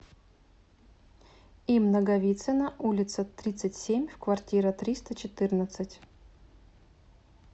им наговицына улица тридцать семь в квартира триста четырнадцать